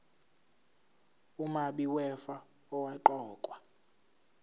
umabi wefa owaqokwa